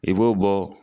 I b'o bɔ